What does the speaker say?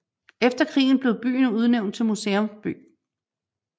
Efter krigen blev byen udnævnt til museumsby